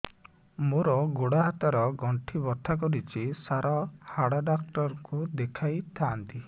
ମୋର ଗୋଡ ହାତ ର ଗଣ୍ଠି ବଥା କରୁଛି ସାର ହାଡ଼ ଡାକ୍ତର ଙ୍କୁ ଦେଖାଇ ଥାନ୍ତି